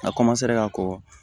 A ka kɔkɔ